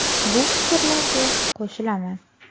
Bu fikrlarga qo‘shilaman.